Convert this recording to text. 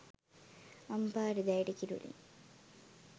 අම්පාර දැයට කිරුළින්